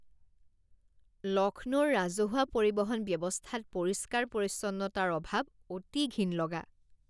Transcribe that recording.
লক্ষ্ণৌৰ ৰাজহুৱা পৰিবহণ ব্যৱস্থাত পৰিষ্কাৰ পৰিচ্ছন্নতাৰ অভাৱ অতি ঘিণ লগা।